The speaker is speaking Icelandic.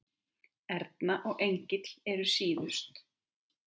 Erna og Engill eru síðust.